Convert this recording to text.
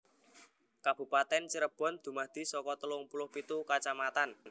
Kabupatèn Cirebon dumadi saka telung puluh pitu kacamatan